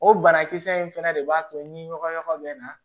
O banakisɛ in fɛnɛ de b'a to ni ɲɔgɔn bɛ na